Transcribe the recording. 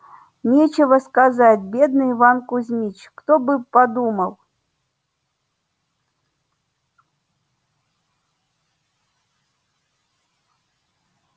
нечего сказать бедный иван кузмич кто бы подумал